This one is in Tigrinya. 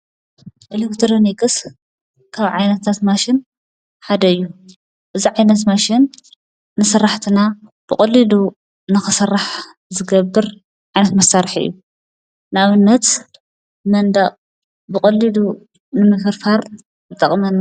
ኤልክትሮኒክስ ካብ ዓይነት ማሽን ሓደዩ ብዛዕባ ኤንፎርሞሽን ማሽን ንሠራሕትና ብቖሊዱ ንኽሠራሕ ዝገብር ዕንስመሣርሕ እዩ ናብነት መንዳቕ ብቖሊዱ ንምክርፋር ብጠቕመና::